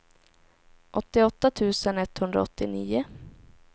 åttioåtta tusen etthundraåttionio